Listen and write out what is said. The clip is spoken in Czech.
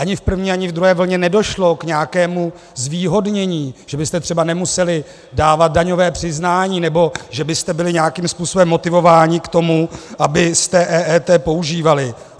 Ani v první, ani v druhé vlně nedošlo k nějakému zvýhodnění, že byste třeba nemuseli dávat daňové přiznání nebo že byste byli nějakým způsobem motivováni k tomu, abyste EET používali.